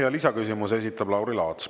Ja lisaküsimuse esitab Lauri Laats.